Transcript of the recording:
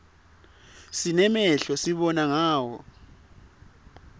sinemehlo sibona ngawo